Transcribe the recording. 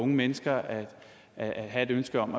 mennesker at have et ønske om